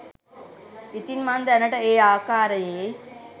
ඉතින් මං දැනට ඒ ආකාරයේ